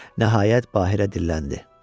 Nəhayət Bahirə dilləndi.